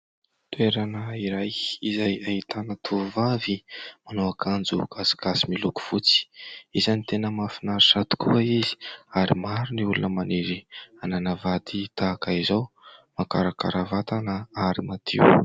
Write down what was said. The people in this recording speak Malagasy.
Toerana iray, izay ahitana tovovavy manao akanjo gasigasy miloko fotsy ; isan'ny tena mahafinaritra tokoa izy ary maro ny olona maniry hanana vady tahaka izao, mahakarakara vatana ary madio.